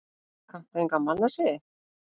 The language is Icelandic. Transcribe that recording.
Kanntu enga mannasiði?